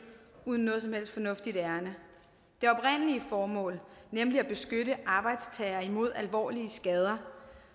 uden noget som helst fornuftigt ærinde det oprindelige formål nemlig at beskytte arbejdstager imod alvorlige skader